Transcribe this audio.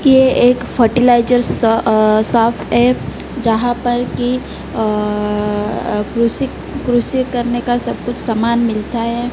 ये एक फर्टिलाइजर स अह सॉप है जहां पर की अह कृषि-कृषि करने का सब कुछ सामान मिलता है।